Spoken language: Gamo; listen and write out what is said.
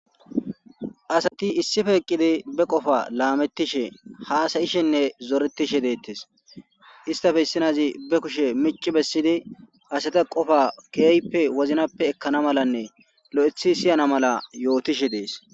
Assati issipe eqidi bee qofa lametishene hassayise deyosomna ettappe issi nayayi ba kushe micci bessidi assati qoffa kehipe wozanape ekana mala siyana mala yotishe deyesi.